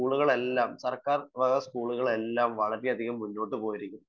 സ്‌കൂളുകളെല്ലാം സർക്കാർ വക സ്കൂളുകളെല്ലാം വളരെയധികം മുന്നോട്ടു പോയിരിക്കുന്നു